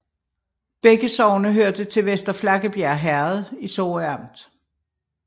Begge sogne hørte til Vester Flakkebjerg Herred i Sorø Amt